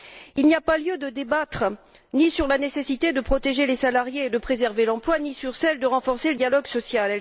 Il n'y a lieu de débattre ni sur la nécessité de protéger les salariés et de préserver l'emploi ni sur celle de renforcer le dialogue social.